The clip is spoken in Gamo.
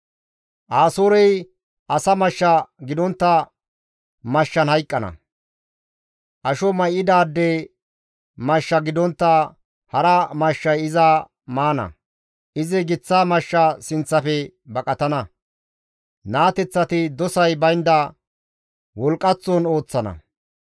«Asoorey asa mashsha gidontta mashshan hayqqana; asho may7idaade mashsha gidontta hara mashshay iza maana; izi giththa mashsha sinththafe baqatana; naateththati dosay baynda wolqqaththon ooththana.